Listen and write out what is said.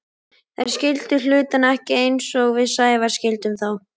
Þeir skildu hlutina ekki eins og við Sævar skildum þá.